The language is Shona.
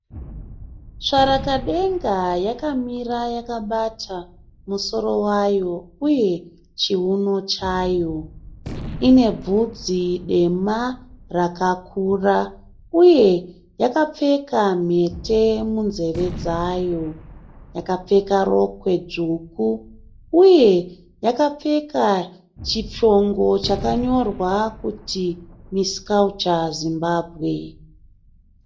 Tsvarakadenga yakamira yakabata musoro wayo uye chiuno chaiyo. Ine bvudzi dema rakakura uye yakapfeka mhete munzeve dzayo. Yakapfeka rokwe dzvuku uye yakapfeka chishongo chakanyorwa kuti misi kaucha Zimbabwe.